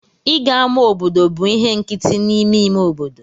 Ịga ama obodo bụ ihe nkịtị n'ime ime obodo.